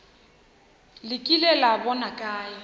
le kile la bona kae